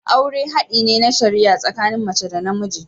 Aure hadi ne na shari'a tsakanin mace da namiji.